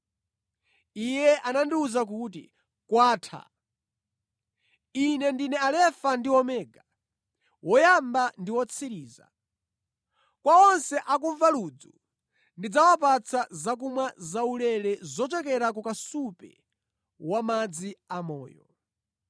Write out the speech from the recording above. Iye anandiwuza kuti, “Kwatha. Ine ndine Alefa ndi Omega, Woyamba ndi Wotsiriza. Kwa onse akumva ludzu, ndidzawapatsa zakumwa zaulere zochokera ku kasupe wamadzi amoyo.